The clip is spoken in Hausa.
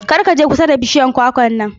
Kar ka je kusa da bishiyar kwakwar nan.